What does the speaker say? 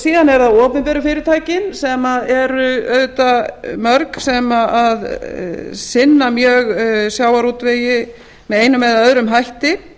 síðan eru það opinberu fyrirtækin en eru auðvitað mörg sem sinna mjög sjávarútvegi með einum eða öðrum hætti